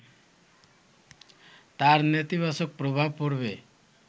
তার নেতিবাচক প্রভাব পড়বে